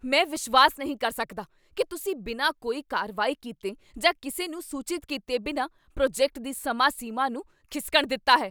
ਮੈਂ ਵਿਸ਼ਵਾਸ ਨਹੀਂ ਕਰ ਸਕਦਾ ਕੀ ਤੁਸੀਂ ਬਿਨਾਂ ਕੋਈ ਕਾਰਵਾਈ ਕੀਤੇ ਜਾਂ ਕਿਸੇ ਨੂੰ ਸੂਚਿਤ ਕੀਤੇ ਬਿਨਾਂ ਪ੍ਰੋਜੈਕਟ ਦੀ ਸਮਾਂ ਸੀਮਾ ਨੂੰ ਖਿਸਕਣ ਦਿੱਤਾ ਹੈ।